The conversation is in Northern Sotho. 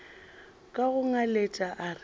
ka go ngaletša a re